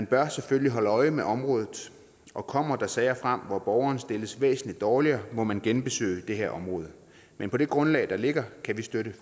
bør selvfølgelig holde øje med området og kommer der sager frem hvor borgeren stilles væsentlig dårligere må man genbesøge det her område men på det grundlag der ligger kan vi støtte